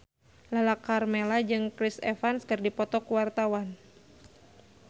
Lala Karmela jeung Chris Evans keur dipoto ku wartawan